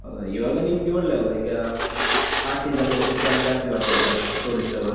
ಆಹ್, ಇವಾಗ ನಿಮ್ಗೆ ಒಳ್ಳೆ ಅಲ್ಲ? ಈಗ ಆಚಿಂದೆಲ್ಲ ಜನ ಜಾಸ್ತಿ ಬರ್ತಿದ್ದಾರೆ, tourist ಅವರು.